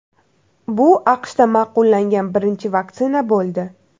Bu AQShda ma’qullangan birinchi vaksina bo‘ldi.